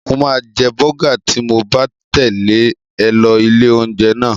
Mo máa jẹ bọ́gà tí mo bá tẹ̀lé ẹ lọ ilé-oúnjẹ náà.